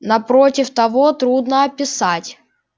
напротив того трудно описать